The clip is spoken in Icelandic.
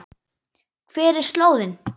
Hver er slóðin?